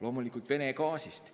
Loomulikult Venemaa gaasist.